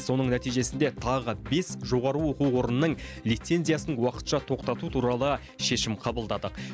соның нәтижесінде тағы бес жоғары оқу орынның лицензиясын уақытша тоқтату туралы шешім қабылдадық